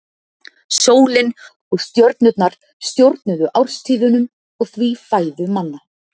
sólin og stjörnurnar stjórnuðu árstíðunum og því fæðu manna